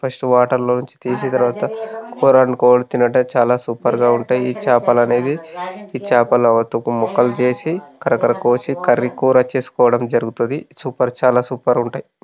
First water లోంచి తీసిన తర్వాత కూర వండుకొని తినుట చాలా సూపర్ గా ఉంటాయి. ఈ చాపలు అనేవి ఈ చాపలు ఒక తుక్కు ముక్కలు చేసి కరకర కోసి కర్రీ కూర చేసుకోవడం జరుగుతది. సూపర్ చాలా సూపర్ ఉంటది.